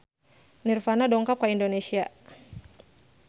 Nirvana dongkap ka Indonesia